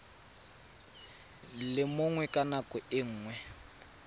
le mongwe ka nako nngwe